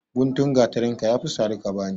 Guntun gatarinka ya fi sari ka bani.